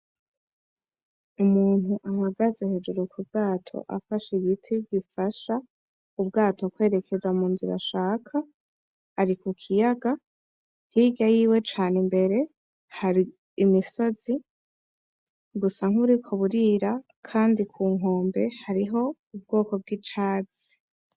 Umuntu ahagaze hejuru ku bwato afashe ibigiti bifasha ubwato kwerekeza mu nzira ashaka, ari ku kiyaga. Hirya yiwe cane imbere hari imisozi busa nk'uburiko buriria kandi kunkombe hariho ubwoko bw'icyatsi.